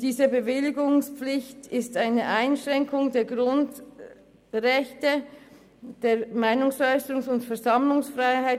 Diese Bewilligungspflicht ist eine Einschränkung der Grundrechte, nämlich der Meinungsäusserungs- und Versammlungsfreiheit.